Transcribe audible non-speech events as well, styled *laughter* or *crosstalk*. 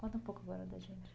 Conta um pouco agora *unintelligible*